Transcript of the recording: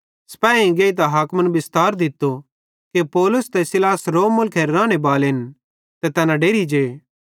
सिपैहीयेइं गेइतां हाकिमन बिस्तार दित्तो कि पौलुस ते सीलास रोम मुलखेरे राने बालेन ते तैना डेरि जे